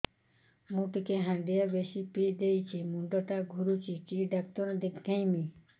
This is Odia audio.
ମୁଇ ଟିକେ ହାଣ୍ଡିଆ ବେଶି ପିଇ ଦେଇଛି ମୁଣ୍ଡ ଟା ଘୁରୁଚି କି ଡାକ୍ତର ଦେଖେଇମି